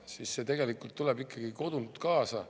See tuleb tegelikult ikkagi kodust kaasa.